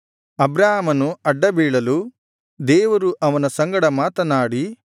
ಅಬ್ರಾಮನು ಅಡ್ಡಬೀಳಲು ದೇವರು ಅವನ ಸಂಗಡ ಮಾತನಾಡಿ